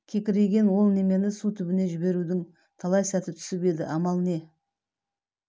кекірейген ол немен су түбіне жіберудің талай сәт түсіп еді амал не